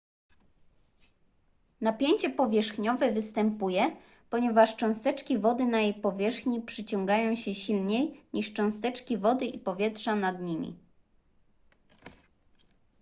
napięcie powierzchniowe występuje ponieważ cząsteczki wody na jej powierzchni przyciągają się silniej niż cząsteczki wody i powietrza nad nimi